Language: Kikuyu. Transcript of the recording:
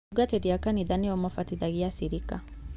Atungatĩri a kanitha nĩo mabatithagia aciriki.